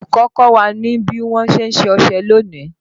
Olùkọ́ kọ́ wa ní bí wọn ṣe ń ṣe ọṣẹ lónìí